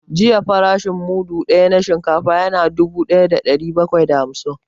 Jiya farashin mudu ɗaya na shinkafa ya na dubu ɗaya da ɗari bakwai da hamsin